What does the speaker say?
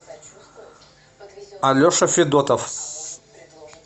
алеша федотов